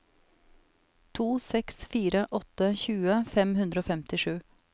to seks fire åtte tjue fem hundre og femtisju